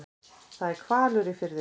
Það er hvalur á firðinum.